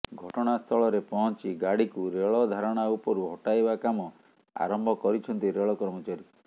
ଘଟଣାସ୍ଥଳରେ ପହଞ୍ଚି ଗାଡିକୁ ରେଳଧାରଣା ଉପରୁ ହଟାଇବା କାମ ଆରମ୍ଭ କରିଛନ୍ତି ରେଳ କର୍ମଚାରୀ